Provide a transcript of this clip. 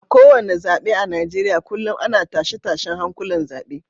A kowane zabe a Najeriya kullum ana tashe-tashen hankulan zabe